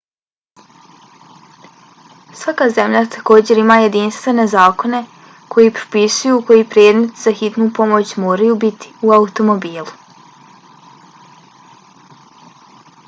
svaka zemlja također ima jedinstvene zakone koji propisuju koji predmeti za hitnu pomoć moraju biti u automobilu